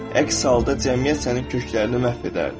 Əks halda cəmiyyət sənin köklərini məhv edərdi.